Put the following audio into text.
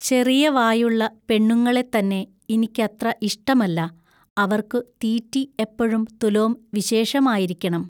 ചെറിയവായുള്ള പെണ്ണുങ്ങളെത്തന്നെ ഇനിക്കത്ര ഇഷ്ടമല്ല. അവൎക്കു തീറ്റി എപ്പഴും തുലോം വിശേഷമായിരിക്കെണം.